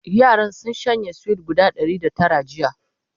yaran sun shanye sweet guda Ɗari da Tara jiya